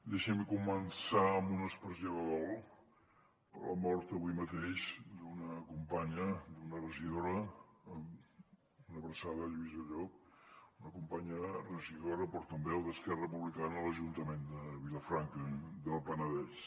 deixin me començar amb una expressió de dol per la mort avui mateix d’una companya d’una regidora una abraçada lluïsa llop una companya regidora portaveu d’esquerra republicana a l’ajuntament de vilafranca del penedès